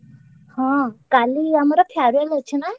ହଁ କାଲି ଆମର farewell ଅଛି ନା?